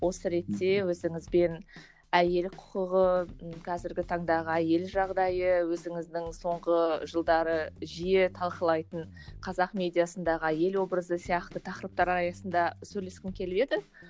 осы ретте өзіңізбен әйел құқығы қазіргі таңдағы әйел жағдайы өзіңіздің соңғы жылдары жиі талқылайтын қазақ медиасындағы әйел образы сияқты тақырыптар аясында сөйлескім келіп еді